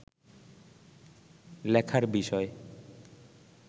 লেখার বিষয়